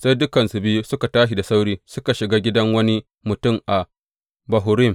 Sai dukansu biyu suka tashi da sauri suka shiga gidan wani mutum a Bahurim.